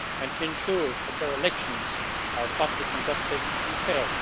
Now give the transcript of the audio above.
and to ensure that their elections are properly conducted and fair.